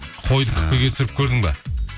қойды күпкіге түсіріп көрдің бе